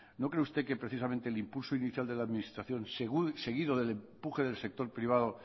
no cree usted que precisamente el impulso inicial de la administración seguido del empuje del sector privado